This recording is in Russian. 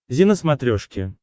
зи на смотрешке